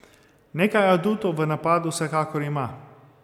Nekaj adutov v napadu vsekakor ima.